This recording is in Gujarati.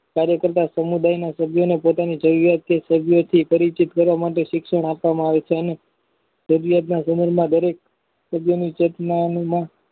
કાર્ય કરતા સમુદાયનું સભ્યોને પોતાની જરૂરિયાત છે સભ્યોથી પરિચિત કરવા માટે શિક્ષણ આપવા માં આવે છે અને સભ્યના ગ્રહણમાં દરેક સભ્યની ચેતનાના